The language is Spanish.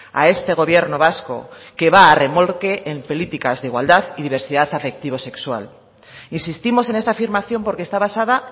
a este gobierno vasco que va a remolque en políticas de igualdad y diversidad afectivo sexual insistimos en esta afirmación porque está basada